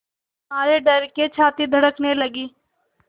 मारे डर के छाती धड़कने लगी